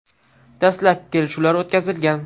Dastlabki kelishuvlar o‘tkazilgan.